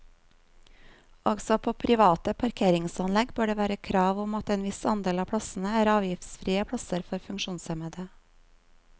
Også på private parkeringsanlegg bør det være krav om at en viss andel av plassene er avgiftsfrie plasser for funksjonshemmede.